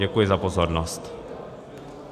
Děkuji za pozornost.